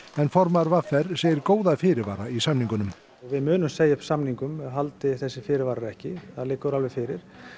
formaður v r segir góða fyrirvara í samningunum við munum segja upp samningum haldi þessir fyrirvarar ekki það liggur alveg fyrir